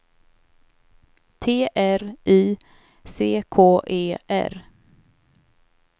T R Y C K E R